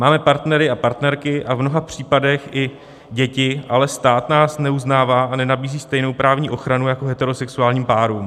Máme partnery a partnerky a v mnoha případech i děti, ale stát nás neuznává a nenabízí stejnou právní ochranu jako heterosexuálním párům.